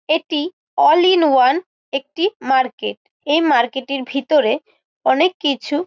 এটি all in one একটি market এই মার্কেট -এর ভিতরে অনেক কিছু--